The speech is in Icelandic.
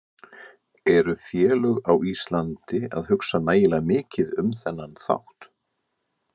Eru félög á Íslandi að hugsa nægilega mikið um þennan þátt?